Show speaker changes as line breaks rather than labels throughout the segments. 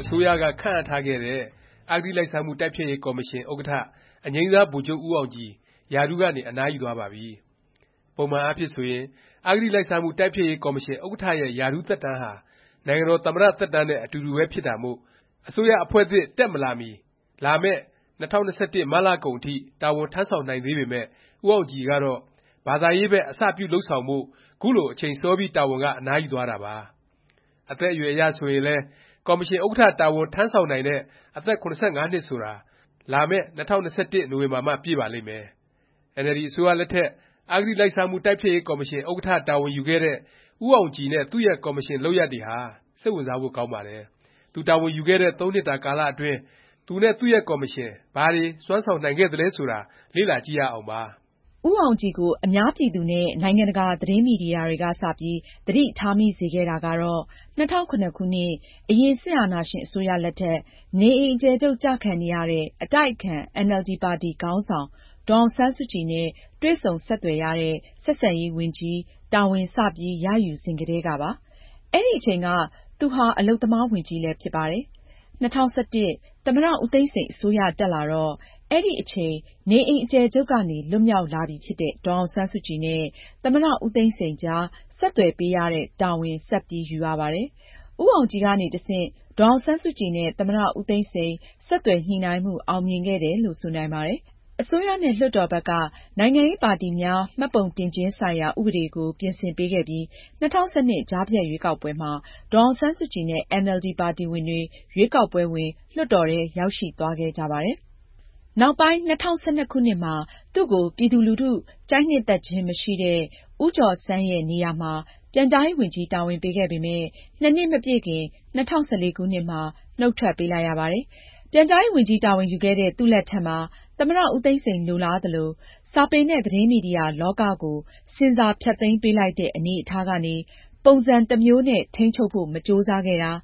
အစိုးရက ခန့်အပ်ထားခဲ့တဲ့ အဂတိလိုက်စားမှု တိုက်ဖျက်ရေး ကော်မရှင် ဥက္ကဌ အငြိမ်းစား ဗိုလ်ချုပ် ဦးအောင်ကြည် ရာထူးကနေ အနားယူသွားပါပြီ။ ပုံမှန်အားဖြင့် ဆိုရင် အဂတိလိုက်စားမှု တိုက်ဖျက်ရေး ကော်မရှင် ဥက္ကဌ ရဲ့ ရာထူးသက်တမ်းဟာ နိုင်ငံတော် သမ္မတ သက်တမ်းနဲ့ အတူတူပဲ ဖြစ်တာမို့ အစိုးရအဖွဲ့သစ် မတက်မီ လာမယ့် ၂၀၂၁ မတ်လကုန်အထိ တာဝန်ထမ်းဆောင်နိုင်သေးပေမယ့် ဦးအောင်ကြည်ကတော့ ဘာသာရေးဘက် အစပြု လုပ်ဆောင်ဖို့ ခုလို အချိန်စောပြီး တာဝန်က အနားယူသွားတာပါ။ အသက်အရွယ် အရဆိုရင်လည်း ကော်မရှင် ဥက္ကဌ တာဝန်ထမ်းဆောင်နိုင်တဲ့ အသက် ၇၅ နှစ်ဆိုတာ လာမယ့် ၂၀၂၁ နိုဝင်ဘာမှ ပြည့်ပါလိမ့်မယ်။ အင်န်အယ်လ်ဒီ အစိုးရလက်ထက် အဂတိလိုက်စားမှု တိုက်ဖျက်ရေး ကော်မရှင် ဥက္ကဌ တာဝန်ယူခဲ့တဲ့ ဦးအောင်ကြည်နဲ့ သူ့ရဲ့ ကော်မရှင် လုပ်ရပ်တွေဟာ စိတ်ဝင်စားဖို့ ကောင်းပါတယ်။ သူတာဝန်ယူခဲ့တဲ့ ၃ နှစ်တာ ကာလ အတွင်း သူနဲ့ သူ့ရဲ့ ကော်မရှင် ဘာတွေ စွမ်းဆောင်နိုင်ခဲ့သလဲ ဆိုတာ လေ့လာ ကြည့်ကြရအောင်ပါ
။ ဦးအောင်ကြည်ကို အများပြည်သူနဲ့ နိုင်ငံတကာ သတင်းမီဒီယာတွေက စ ပြီး သတိထားမိစေခဲ့တာကတော့ ၂၀၀၇ ခုနှစ် အရင် စစ်အာဏာရှင် အစိုးရလက်ထက် နေအိမ် အကျယ်ချုပ် ကျခံနေရတဲ့ အတိုက်အခံ အင်န်အယ်လ်ဒီ ပါတီ ခေါင်းဆောင် ဒေါ်အောင်ဆန်းစုကြည်နဲ့ တွေ့ဆုံ ဆက်သွယ်ရတဲ့ ဆက်ဆံရေး ဝန်ကြီးတာဝန် စပြီး ရယူစဉ်ကတည်းကပါ။ အဲဒီအချိန်က သူဟာ အလုပ်သမား ဝန်ကြီးလည်း ဖြစ်ပါတယ်။ ၂၀၁၁ သမ္မတ ဦးသိန်းစိန် အစိုးရတက်လာတော့ အဲဒီအချိန် နေအိမ်အကျယ်ချုပ်ကနေ လွတ်မြောက်လာပြီဖြစ်တဲ့ ဒေါ်အောင်ဆန်းစုကြည်နဲ့ သမ္မတ ဦးသိန်းစိန် အကြား ဆက်သွယ်ပေးရတဲ့ တာဝန် ဆက်ပြီး ယူရပါတယ်။ ဦးအောင်ကြည်ကနေ တဆင့် ဒေါ်အောင်ဆန်းစုကြည်နဲ့ သမ္မတ ဦးသိန်းစိန် ဆက်သွယ်ညှိနှိုင်းမှု အောင်မြင်ခဲ့တယ်လို့ ဆိုနိုင်ပါတယ်။ အစိုးရနဲ့ လွှတ်တော်ဘက်က နိုင်ငံရေးပါတီများ မှတ်ပုံတင်ခြင်း ဆိုင်ရာ ဥပဒေကို ပြင်ဆင်ပေးခဲ့ပြီး ၂၀၁၂ ကြားဖြတ်ရွေးကောက်ပွဲမှာ ဒေါ်အောင်ဆန်းစုကြည်နဲ့ အင်န်အယ်လ်ဒီ ပါတီဝင်တွေ ရွေးကောက်ပွဲဝင်၊ လွှတ်တော်ထဲ ရောက်ရှိသွားခဲ့ကြပါတယ်။ နောက်ပိုင်း ၂၀၁၂ ခုနှစ်မှာ သူ့ကို ပြည်သူလူထု ကြိုက်နှစ်သက်ခြင်း မရှိတဲ့ ဦးကျော်ဆန်းရဲ့ နေရာမှာ ပြန်ကြားရေးဝန်ကြီး တာဝန်ပေးခဲ့ပေမယ့် ၂ နှစ်မပြည့်ခင် ၂၀၁၄ ခုနှစ်မှာ နှုတ်ထွက်ပေးလိုက်ရပါတယ်။ ပြန်ကြားရေး ဝန်ကြီးတာဝန်ယူခဲ့တဲ့ သူ့လက်ထက်မှာ သမ္မတ ဦးသိန်းစိန် လိုလားသလို၊ စာပေနဲ့ သတင်းမီဒီယာ လောကကို ဆင်ဆာ ဖျက်သိမ်းပေးလိုက်တဲ့ အနေအထားကနေ ပုံစံတစ်မျိုးနဲ့ ထိန်းချုပ်ဖို့ မကြိုးစားခဲ့တာ၊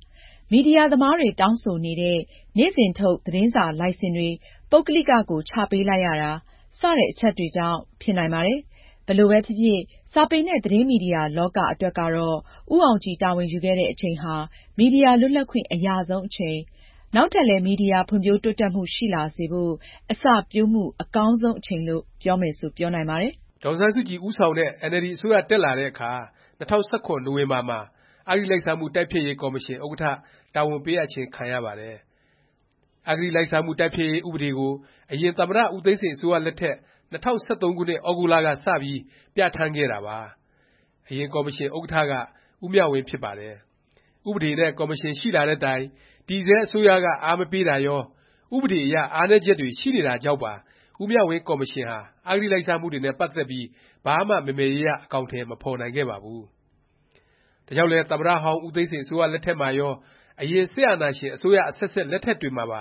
မီဒီယာ သမားတွေ တောင်းဆိုနေတဲ့ နေ့စဉ်ထုတ် သတင်းစာ လိုင်စင်တွေ ပုဂ္ဂလိကကို ချပေးလိုက်ရတာ စတဲ့ အချက်တွေကြောင့် ဖြစ်နိုင်ပါတယ်။ ဘယ်လိုပဲဖြစ်ဖြစ် စာပေနဲ့ သတင်းမီဒီယာ လောက အတွက်ကတော့ ဦးအောင်ကြည် တာဝန်ယူခဲ့တဲ့ အချိန်ဟာ မီဒီယာ လွတ်လပ်ခွင့် အရဆုံး အချိန်၊ နောက်ထပ်လည်း မီဒီယာ ဖွံ့ဖြိုးတိုးတက်မှု ရှိလာစေဖို့ အစပျိုးမှု အကောင်းဆုံး အချိန်လို့ ပြောမယ်ဆို ပြောနိုင်ပါတယ်
။ ဒေါ်အောင်ဆန်းစုကြည် ဦးဆောင်တဲ့ အင်န်အယ်လ်ဒီ အစိုးရ တက်လာတဲ့အခါ ၂၀၁၇ နိုဝင်ဘာ မှာ အဂတိလိုက်စားမှု တိုက်ဖျက်ရေး ကော်မရှင် ဥက္ကဌ တာဝန်ပေးအပ်ခြင်း ခံရပါတယ်။ အဂလိုက်စားမှု တိုက်ဖျက်ရေး ဥပဒေကို အရင်သမ္မတ ဦးသိန်းစိန် အစိုးရလက်ထက် ၂၀၁၃ ခုနှစ် သြဂုတ်လက စပြီး ပြဌာန်းခဲ့တာပါ။ အရင် ကော်မရှင် ဥက္ကဌက ဦးမြဝင်းဖြစ်ပါတယ်။ ဥပဒေနဲ့ ကော်မရှင် ရှိလာတဲ့တိုင် တည်ဆဲ အစိုးရက အားမပေးတာရော၊ ဥပဒေ အရ အားနည်းချက်တွေ ရှိနေတာကြောင့်ပါ ဦးမြဝင်း ကော်မရှင်ဟာ အဂတိလိုက်စားမှုတွေနဲ့ ပတ်သက်ပြီး ဘာမှ မယ်မယ်ရရ အကောင်အထည် မဖော်နိုင်ခဲ့ပါဘူး။ ဒါကြောင့်လဲ သမ္မတဟောင်း ဦးသိန်းစိန် အစိုးရလက်ထက်မှာရော၊ အရင် စစ်အာဏာရှင် အစိုးရ အဆက်ဆက် လက်ထက်တွေမှာပါ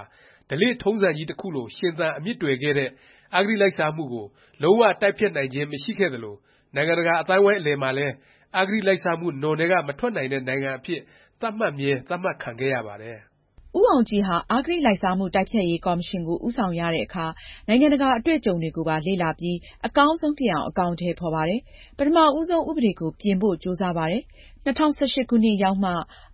ဓလေ့ထုံးစံကြီးတစ်ခုလို ရှင်သန် အမြစ်တွယ်ခဲ့တဲ့ အဂတိလိုက်စားမှုကို လုံး၀ တိုက်ဖျက်နိုင်ခြင်း မရှိခဲ့သလို နိုင်ငံတကာ အသိုင်းအဝိုင်း အလယ်မှာလည်း အဂတိလိုက်စားမှု နွံထဲက မထွက်နိုင်တဲ့ နိုင်ငံအဖြစ် သတ်မှတ်မြဲ သတ်မှတ်ခံခဲ့ရပါတယ်
။ ဦးအောင်ကြည်ဟာ အဂတိလိုက်စားမှု တိုက်ဖျက်ရေး ကော်မရှင်ကို ဦးဆောင်ရတဲ့အခါ နိုင်ငံတကာ အတွေ့အကြုံတွေကိုပါ လေ့လာပြီး အကောင်းဆုံးဖြစ်အောင် အကောင်အထည် ဖော်ပါတယ်။ ပထမဦးဆုံး ဥပဒေကို ပြင်ဖို့ ကြိုးစားပါတယ်။ ၂၀၁၈ ခုနှစ်ရောက်မှ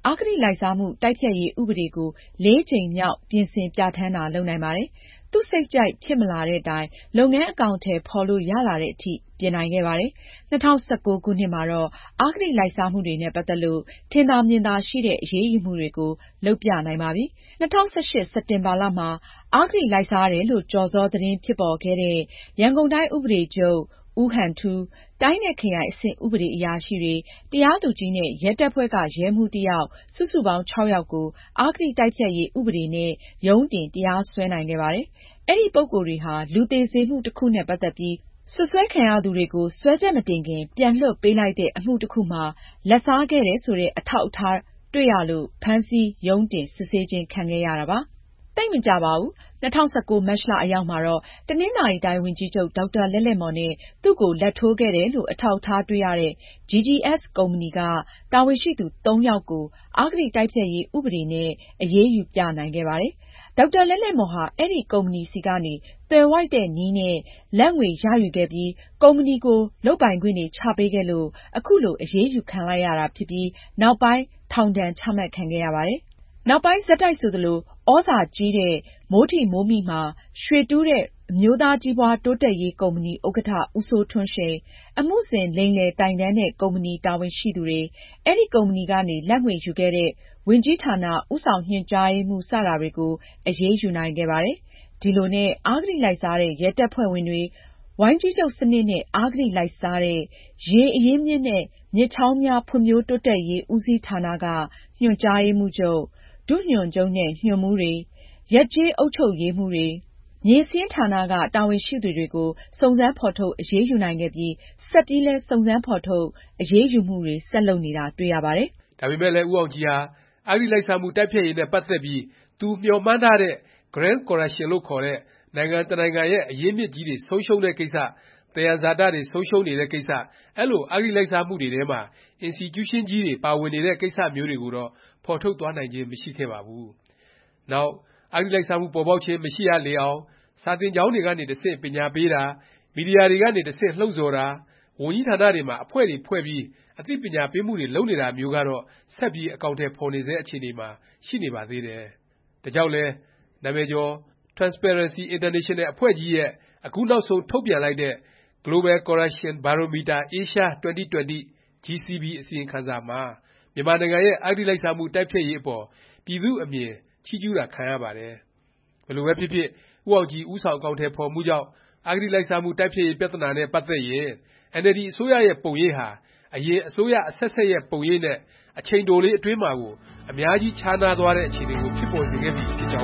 အဂတိလိုက်စားမှု တိုက်ဖျက်ရေး ဥပဒေကို (၄) ကြိမ်မြောက် ပြင်ဆင်ပြဌာန်းတာ လုပ်နိုင်ပါတယ်။ သူ့စိတ်ကြိုက် ဖြစ်မလာတဲ့တိုင် လုပ်ငန်း အကောင်အထည် ဖော်လို့ ရလာသည်အထိ ပြင်နိုင်ခဲ့ပါတယ်။ ၂၀၁၉ ခုနှစ်မှာတော့ အဂတိလိုက်စားမှုတွေနဲ့ ပတ်သက်ပြီး ထင်သာမြင်သာရှိတဲ့ အရေးယူမှုတွေကို လုပ်ပြနိုင်ပါပြီ။ ၂၀၁၈ စက်တင်ဘာမှာ အဂတိလိုက်စားတယ်လို့ ကျော်စော သတင်း ဖြစ်ပေါ်ခဲ့တဲ့ ရန်ကုန်တိုင်း ဥပဒေချုပ် ဦးဟန်ထူး၊ တိုင်း နဲ့ ခရိုင် အဆင့် ဥပဒေအရာရှိတွေ၊ တရားသူကြီး နဲ့ ရဲတပ်ဖွဲ့က ရဲမှူး တစ်ယောက် စုစုပေါင်း (၆) ယောက်ကို အဂတိတိုက်ဖျက်ရေး ဥပဒေနဲ့ ရုံးတင် တရားစွဲနိုင်ခဲ့ပါတယ်။ အဲဒီ ပုဂ္ဂိုလ်တွေဟာ လူသေစေမှု တစ်ခုနဲ့ ပတ်သက်ပြီး စွပ်စွဲခံရသူတွေကို စွဲချက်မတင်ခင် ပြန်လွှတ်ပေးလိုက်တဲ့ အမှု တစ်ခုမှာ လာဘ်စားခဲ့တယ် ဆိုတဲ့ အထောက်အထားတွေ တွေ့ရလို့ ဖမ်းဆီး၊ ရုံးတင် စစ်ဆေးခြင်း ခံခဲ့ကြရတာပါ။ သိပ်မကြာပါဘူး။ ၂၀၁၉ မတ်လ အရောက်မှာတော့ တနင်္သာရီတိုင်း ဝန်ကြီးချုပ် ဒေါက်တာ လဲ့လဲ့မော်နဲ့ သူ့ကို လာဘ်ထိုးခဲ့တယ်လို့ အထောက်အထား တွေ့ရတဲ့ GGS ကုမ္ပဏီက တာဝန်ရှိသူ ၃ ယောက်ကို အဂတိ တိုက်ဖျက်ရေး ဥပဒေနဲ့ အရေးယူ ပြနိုင်ခဲ့ပါတယ်။ ဒေါက်တာ လဲ့လဲ့မော်ဟာ အဲဒီ ကုမ္ပဏီဆီကနေ သွယ်ဝိုက်သောနည်းအားဖြင့် လာဘ်ငွေ ရယူခဲ့ပြီး၊ ကုမ္ပဏီကို လုပ်ပိုင်ခွင့်တွေ ချပေးခဲ့လို့ ခုလို အရေးယူခံလိုက်ရပြီး နောက်ပိုင်း ထောင်ဒဏ်ချမှတ်ခံရပါတယ်။ နောက်ပိုင်း ဆက်တိုက်ဆိုသလို၊ သြဇာကြီးတဲ့ မိုးထိမိုးမိ မှာ ရွှေတူးတဲ့ အမျိုးသားကြီးပွားတိုးတက်ရေး ကုမ္ပဏီ ဥက္ကဌ ဦးစိုးထွန်းရှိန်၊ အမှုဆင် လိမ်လည် တိုင်တန်းတဲ့ ကုမ္ပဏီ တာဝန်ရှိသူတွေ၊ အဲဒီ ကုမ္ပဏီကနေ လာဘ်ငွေ ယူခဲ့တဲ့ ဝန်ကြီးဌာန ဦးဆောင်ညွှန်ကြားရေးမှူး စတာတွေကို အရေးယူနိုင်ခဲ့ပါတယ်။ ဒီလိုနဲ့ အဂတိလိုက်စားတဲ့ ရဲတပ်ဖွဲ့ဝင်တွေ၊ ဝိုင်းကြီးချုပ်စနစ်နဲ့ အဂတိလိုက်စားတဲ့ ရေအရင်းအမြစ်နဲ့ မြစ်ချောင်းများ ဖွံ့ဖြိုးတိုးတက်ရေး ဦးစီးဌာနက ညွှန်ကြားရေးမှူးချုပ်၊ ဒုညွှန်ချုပ်နဲ့ ညွှန်မှူးတွေ၊ ရပ်ကျေး အုပ်ချုပ်ရေးမှူးတွေ၊ မြေစာရင်းဌာနက တာဝန်ရှိသူတွေကို စုံစမ်း ဖော်ထုတ် အရေးယူနိုင်ခဲ့ပြီး ဆက်ပြီးလည်း စုံစမ်းဖော်ထုတ် အရေးယူမှုတွေ ဆက်လုပ်နေတာ တွေ့ရပါတယ်
။ ဒါပေမယ့်လည်း ဦးအောင်ကြည်ဟာ အဂတိလိုက်စားမှု တိုက်ဖျက်ရေးနဲ့ ပတ်သက်ပြီး သူမျှော်မှန်းထားတဲ့ Grand Corruption လို့ခေါ်တဲ့ နိုင်ငံတစ်နိုင်ငံရဲ့ အရင်းအမြစ်ကြီးတွေ ဆုံးရှုံးတဲ့ ကိစ္စ၊ သယံဇာတ တွေဆုံးရှုံးနေတဲ့ ကိစ္စ၊ အဲလို အဂတိလိုက်စားမှုတွေထဲမှာ အင်စတီကျူးရှင်းကြီးတွေ ပါဝင်နေတဲ့ ကိစ္စမျိုးတွေကိုတော့ ဖော်ထုတ်သွားနိုင်ခြင်း မရှိခဲ့ပါဘူး။ နောက် အဂတိလိုက်စားမှု ပေါ်ပေါက်ခြင်း မရှိရလေအောင်၊ စာသင်ကျောင်းတွေကနေ တဆင့် ပညာပေးတာ၊ မီဒီယာတွေကနေ တဆင့် လှုံ့ဆော်တာ၊ ဝန်ကြီးဌာနတွေမှာ အဖွဲ့တွေဖွဲ့ပြီး အသိပညာပေးမှုတွေ လုပ်နေတာမျိုးကတော့ ဆက်ပြီး အကောင်အထည် ဖော်နေဆဲ အခြေအနေမှာ ရှိနေပါသေးတယ်။ ဒါကြောင့်လည်း နာမည်ကျော် Transparency International အဖွဲ့ကြီးရဲ့ အခုနောက်ဆုံး ထုတ်ပြန်လိုက်တဲ့ Global Corruption Barometer Asia 2020 (GCB) အစီရင်ခံစာမှာ မြန်မာနိုင်ငံရဲ့ အဂတိလိုက်စားမှု တိုက်ရေးအပေါ် ပြည်သူ့အမြင် ချီးကျူးတာ ခံရပါတယ်။ ဘယ်လိုပဲဖြစ်ဖြစ် ဦးအောင်ကြည် ဦးဆောင် အကောင်အထည် ဖော်မှုကြောင့် အဂတိလိုက်စားမှု တိုက်ဖျက်ရေး ပြသနာနဲ့ ပတ်သက်ရင် အင်န်အယ်လ်ဒီ အစိုးရရဲ့ ပုံရိပ်ဟာ အရင် အစိုးရအဆက်ဆက်ရဲ့ ပုံရိပ်နဲ့ အချိန်တိုလေး အတွင်းမှာကို အများကြီးခြားနားတဲ့ အခြေအနေကို ဖြစ်ပေါ်စေခဲ့ပြီ ဖြစ်ကြောင်း